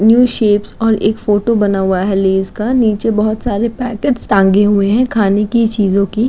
New shape और एक photo बना हुआ है लैस का। नीचे बहुत सारे पैकेट टाँगे हुए हैं खाने की चीजों की।